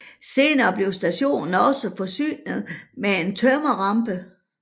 Senere blev stationen også forsynet med en tømmerrampe